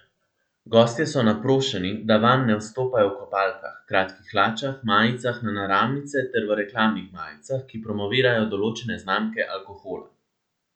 Gostje so naprošeni, da vanj ne vstopajo v kopalkah, kratkih hlačah, majicah na naramnice ter v reklamnih majicah, ki promovirajo določene znamke alkohola.